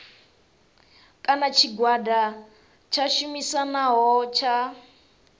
kana tshigwada tsha tshumisano tsha